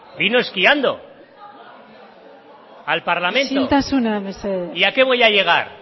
vino esquiando al parlamento isiltasuna mesedez y a qué voy a llegar